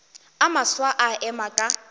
a mafsa a ema ka